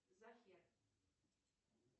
захер